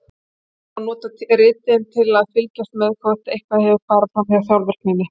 Þannig má nota ritin til að fylgjast með hvort eitthvað hefur farið fram hjá sjálfvirkninni.